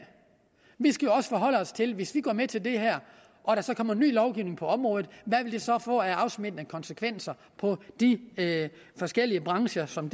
vi skal jo også forholde os til hvis vi går med til det her og der så kommer ny lovgivning på området hvad det så vil få af afsmittende konsekvenser på de forskellige brancher som